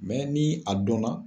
ni a dɔn na